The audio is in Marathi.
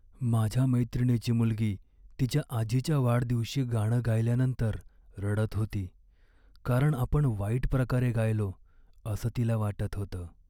माझ्या मैत्रिणीची मुलगी तिच्या आजीच्या वाढदिवशी गाणं गायल्यानंतर रडत होती, कारण आपण वाईट प्रकारे गायलो असं तिला वाटत होतं.